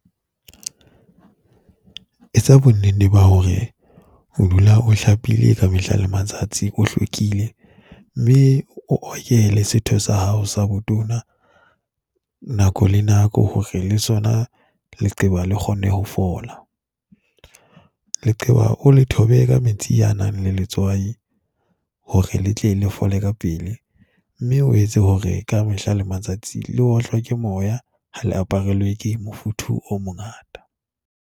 Etsa bonenne ba hore o dula o hlapile ka mehla le matsatsi, o hlwekile mme o oke le setho sa hao sa botona nako le nako hore le sona leqeba le kgone ho fola. Leqeba o le thobe ka metsi a nang le letswai hore le tle le fola ka pele. Mme o etse hore kamehla le matsatsi le otlwa ke moya. Ha le aparelwe ke mofuthu o mongata.